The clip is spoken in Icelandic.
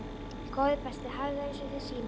Góði besti, hafðu það eins og þér sýnist